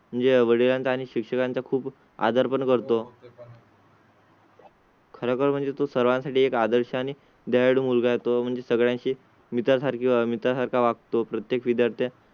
म्हणजे वडील आणि शिक्षक यांचा खूप आधार पण करतो. खरं म्हणजे तो सर्वांसाठी एक आदर्श आणि guide मुलगा. तो म्हणजे सगळ्यांचे विचार सारखेच आम्ही तसा वागतो. प्रत्येक